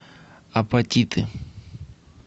апатиты